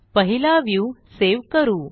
पहिला view save करू